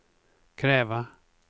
kräva